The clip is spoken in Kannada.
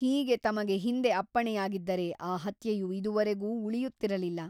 ಹೀಗೆ ತಮಗೆ ಹಿಂದೆ ಅಪ್ಪಣೆಯಾಗಿದ್ದರೆ ಆ ಹತ್ಯೆಯು ಇದುವರೆಗೂ ಉಳಿಯುತ್ತಿರಲಿಲ್ಲ.